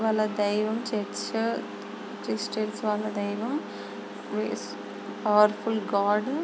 వాళ్ళ దైవం church . Christians వాళ్ళ దైవం ప్రయ్స్ పవర్ఫుల్ గాడ్ --